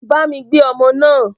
Bámi gbé ọmọ náà.